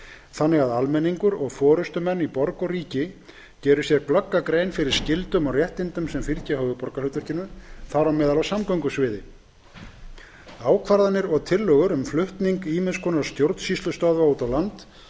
þannig að almenningur og forustumenn í borg og ríki geri sér glögga grein fyrir skyldum og réttindum sem fylgja höfuðborgarhlutverkinu þar á meðal á samgöngusviði ákvarðanir og tillögur um flutning ýmiss konar stjórnsýslustöðva út á land